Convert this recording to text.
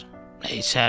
Nə içərdim.